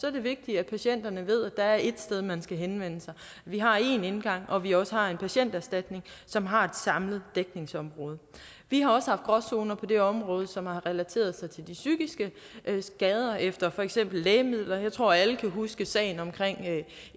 er det vigtigt at patienterne ved at der er et sted man skal henvende sig at vi har en indgang og at vi også har en patienterstatning som har et samlet dækningsområde vi har også haft gråzoner på det område som relaterer sig til de psykiske skader efter for eksempel lægemidler jeg tror at alle kan huske sagen omkring